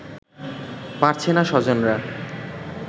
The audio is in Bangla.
পারছেনা স্বজনরা